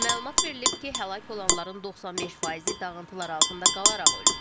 Məlumat verilib ki, həlak olanların 95 faizi dağıntılar altında qalaraq ölüb.